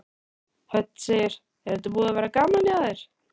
Hödd: Er þetta búið að vera gaman hjá þér?